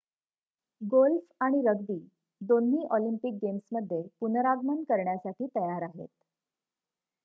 golf आणि rugby दोन्ही Olympic गेम्समध्ये पुनरागमन करण्यासाठी तयार आहेत